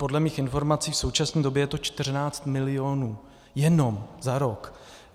Podle mých informací v současné době je to 14 milionů - jenom - za rok.